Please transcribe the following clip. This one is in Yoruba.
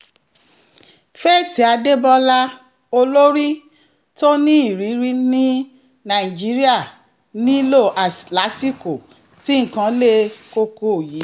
faith adébólà olórí tó ní ìrìírí ni nàìjíríà nílò lásìkò tí nǹkan le koko yìí